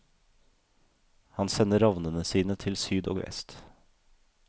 Han sender ravnene sine til syd og vest.